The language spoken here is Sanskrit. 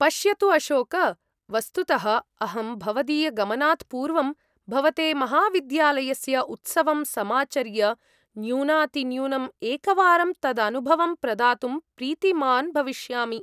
पश्यतु अशोक! वस्तुतः अहं भवदीयगमनात् पूर्वं भवते महाविद्यालयस्य उत्सवं समाचर्य न्यूनातिन्यूनम् एकवारं तदनुभवं प्रदातुं प्रीतिमान् भविष्यामि।